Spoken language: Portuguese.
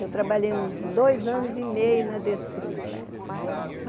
Eu trabalhei uns dois anos e meio na Desfrute.